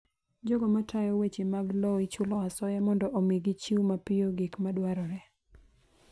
Jogo matayo weche mag lowo ichulo asoya mondo omi gichiw mapiyo gik madwarore.